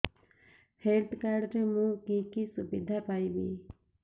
health card ରେ ମୁଁ କି କି ସୁବିଧା ପାଇବି